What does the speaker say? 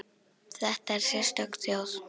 Þetta er sérstök þjóð.